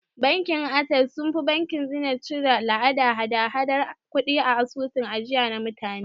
Bankin Ases sunfi bankin Zeniz cire la'adan hada hadar kudi a asusun ajiya na mutane